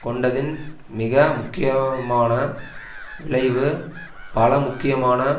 கொண்டதின் மிக முக்கியமான விளைவு பல முக்கியமான